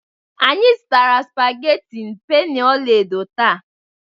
Anyị zụtara spaghetti penny ọla edo taa